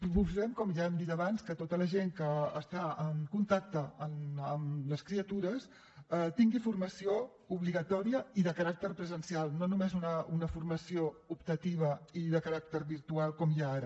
proposem com ja hem dit abans que tota la gent que està en contacte amb les criatures tingui formació obligatòria i de caràcter presencial no només una formació optativa i de caràcter virtual com hi ha ara